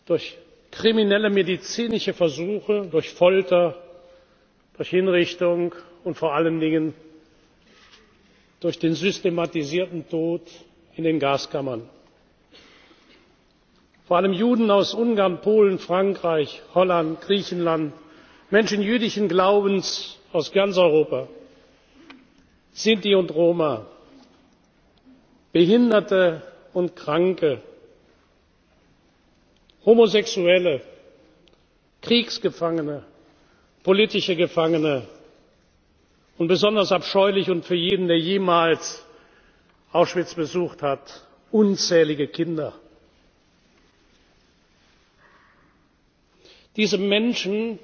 durch kriminelle medizinische Versuche, durch Folter, durch Hinrichtung und vor allen Dingen durch den systematisierten Tod in den Gaskammern. Vor allem Juden aus Ungarn, Polen, Frankreich, Holland, Griechenland, Menschen jüdischen Glaubens aus ganz Europa, Sinti und Roma, Behinderte und Kranke, Homosexuelle, Kriegsgefangene, politische Gefangene und besonders abscheulich für jeden, der jemals Auschwitz besucht hat unzählige Kinder. Diese Menschen,